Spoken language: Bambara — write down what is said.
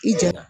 I ja